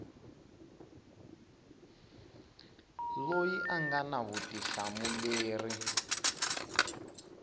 loyi a nga na vutihlamuleri